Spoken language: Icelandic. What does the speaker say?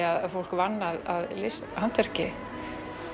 að fólk vann að list handverki